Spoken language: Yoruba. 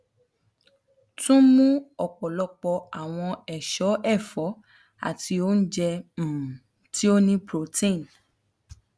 tun mu ọpọlọpọ awọn eso ẹfọ ati ounjẹ um ti o ni protein